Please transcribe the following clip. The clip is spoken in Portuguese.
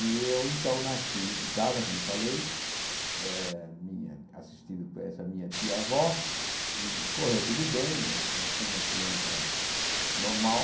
E eu então nasci em casa, como falei, eh assistido por essa minha tia avó, e correu tudo bem, nasci uma criança normal.